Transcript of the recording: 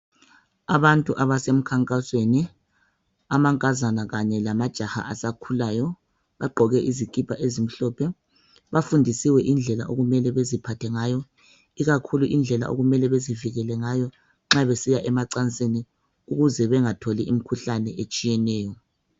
Abantu abesemkhankasweni amankazana kanye lamajaha asakhulayo agqoke izikipa ezimhlophe Bafundisiwe indlela okumele baziphathe ngayo ikakhulu indlela okumele bezivikele ngayo ikakhulu nxa besiya emacansini ukuze bengatholi imkhuhlane etshiyeneyo